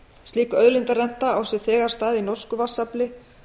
slík auðlindarenta á sér þegar stað í norsku vatnsafli